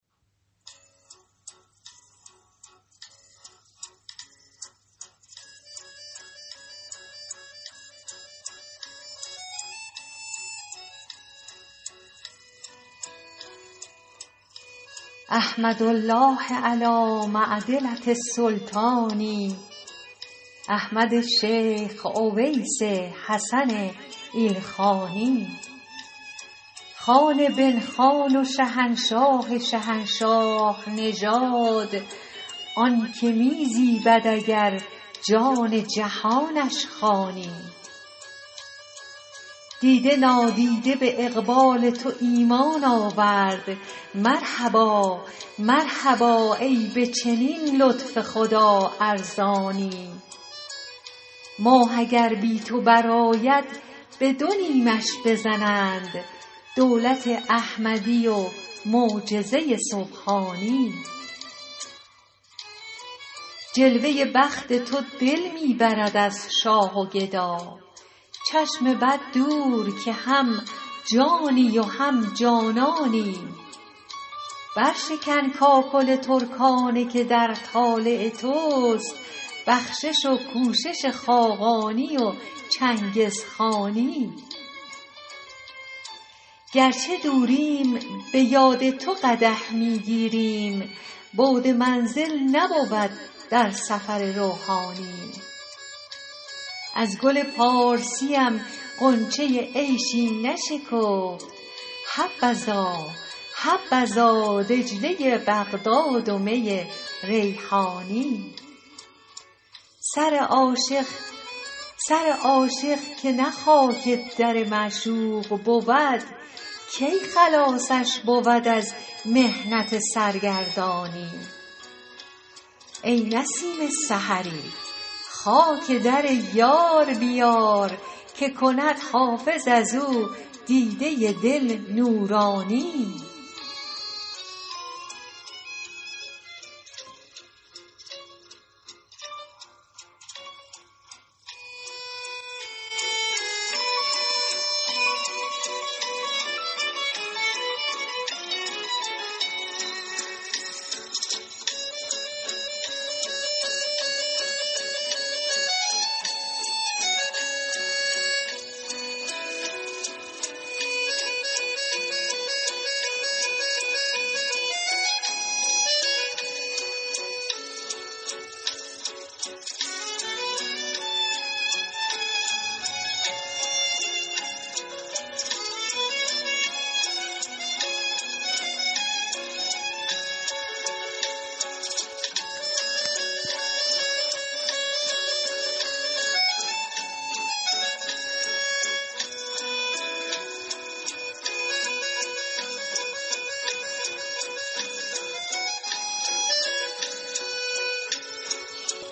احمد الله علی معدلة السلطان احمد شیخ اویس حسن ایلخانی خان بن خان و شهنشاه شهنشاه نژاد آن که می زیبد اگر جان جهانش خوانی دیده نادیده به اقبال تو ایمان آورد مرحبا ای به چنین لطف خدا ارزانی ماه اگر بی تو برآید به دو نیمش بزنند دولت احمدی و معجزه سبحانی جلوه بخت تو دل می برد از شاه و گدا چشم بد دور که هم جانی و هم جانانی برشکن کاکل ترکانه که در طالع توست بخشش و کوشش خاقانی و چنگزخانی گر چه دوریم به یاد تو قدح می گیریم بعد منزل نبود در سفر روحانی از گل پارسیم غنچه عیشی نشکفت حبذا دجله بغداد و می ریحانی سر عاشق که نه خاک در معشوق بود کی خلاصش بود از محنت سرگردانی ای نسیم سحری خاک در یار بیار که کند حافظ از او دیده دل نورانی